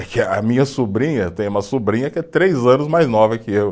É que a minha sobrinha, tem uma sobrinha que é três anos mais nova que eu.